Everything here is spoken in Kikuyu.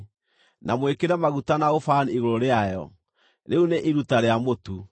Na mwĩkĩre maguta na ũbani igũrũ rĩayo; rĩu nĩ iruta rĩa mũtu.